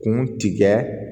Kun tigɛ